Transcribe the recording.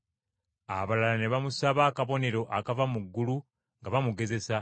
Abalala ne bamusaba akabonero akava mu ggulu nga bamugezesa.